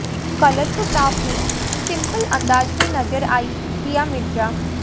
colourful top में simple अंदाज में नजर आई दिया मिर्जा